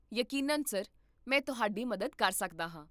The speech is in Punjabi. ਯਕੀਨਨ ਸਰ, ਮੈਂ ਤੁਹਾਡੀ ਮਦਦ ਕਰ ਸਕਦਾ ਹਾਂ